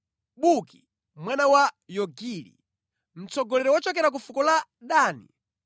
Buki mwana wa Yogili, mtsogoleri wochokera ku fuko la Dani;